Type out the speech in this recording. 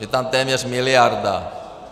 Je tam téměř miliarda.